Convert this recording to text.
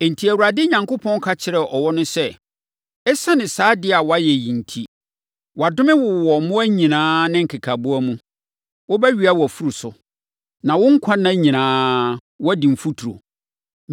Enti, Awurade Onyankopɔn ka kyerɛɛ ɔwɔ no sɛ, “Esiane saa adeɛ a woayɛ yi enti, “Wɔadome wo wɔ mmoa nyinaa ne nkekaboa mu. Wobɛwea wʼafuru so, na wo nkwa nna nyinaa woadi mfuturo.